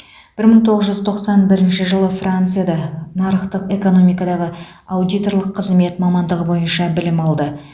бір мың тоғыз жүз тоқсан бірінші жылы францияда нарықтық экономикадағы аудиторлық қызмет мамандығы бойынша білім алды